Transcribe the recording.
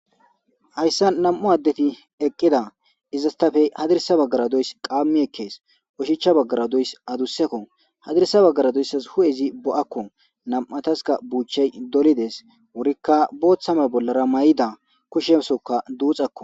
Hayssa nam'u addeti eqqida izastafey hadirisa baggaradoys qaammi ekkees ushicha baggara doys adusekko hadirisa baggara doysas hu'ezi bo'akko nam'ataska buuchay dolides wurikka booththame bollara may'ida kushemsoka duuxakko.